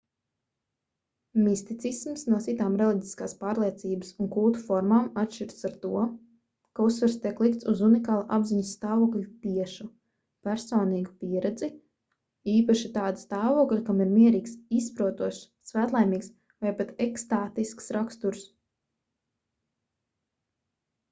misticisms no citām reliģiskās pārliecības un kulta formām atšķiras ar to ka uzsvars tiek likts uz unikāla apziņas stāvokļa tiešu personīgu pieredzi īpaši tāda stāvokļa kam ir mierīgs izprotošs svētlaimīgs vai pat ekstātisks raksturs